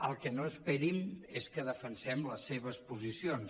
el que no esperin és que defensem les seves posicions